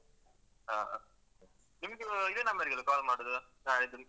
ಹಾ, ನಿಮ್ದು ಇದೇ number ಗಲ್ಲ call ಮಾಡುದು ನಾಡ್ದು?